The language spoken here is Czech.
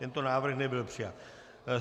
Tento návrh nebyl přijat.